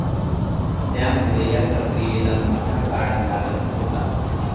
त्यामुळे या प्रक्रियेला मोठा काळ लागत होता.